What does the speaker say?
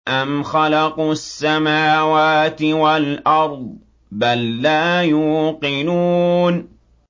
أَمْ خَلَقُوا السَّمَاوَاتِ وَالْأَرْضَ ۚ بَل لَّا يُوقِنُونَ